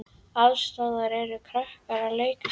Alls staðar eru krakkar að leika sér.